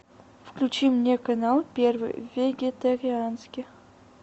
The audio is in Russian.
включи мне канал первый вегетарианский